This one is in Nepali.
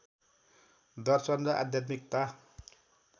दर्शन र आध्यात्मिकता